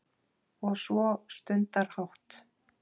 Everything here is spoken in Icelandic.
Og svo stundarhátt